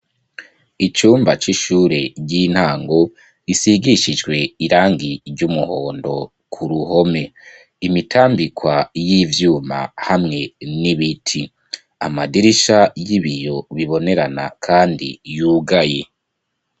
Icumba c'ishure ry'intango gisigishijwe irangi ry'umuhondo ku ruhome. Imitambikwa y'ivyuma hamwe n'ibiti. Amadirisha y'ibiyo bibonerana kandi yugaye.